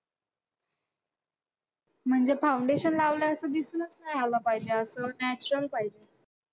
म्हणजे foundation लावलंय असं दिसूनच नाही आलं पाहिजे असं natural पाहिजे.